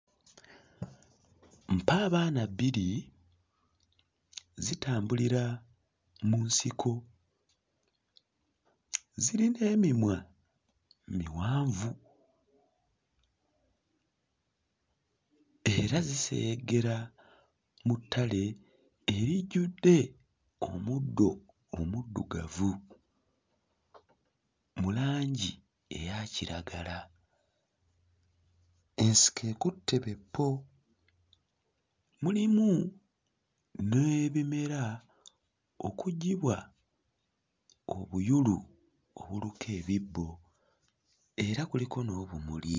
Mpaabaana bbiri zitambulira mu nsiko, zirina emimwa miwanvu era ziseyeggera mu ttale erijjudde omuddo omuddugavu mu langi eya kiragala. Ensiko ekutte be ppo, mulimu n'ebimera okuggyibwa obuyulu obuluka ebibbo era kuliko n'obumuli.